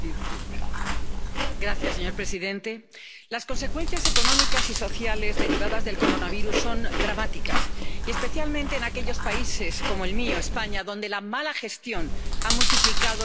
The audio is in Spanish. Señor presidente, las consecuencias económicas y sociales derivadas del coronavirus son dramáticas, y, especialmente, en aquellos países como el mío, España, donde la mala gestión han multiplicado su efecto devastador.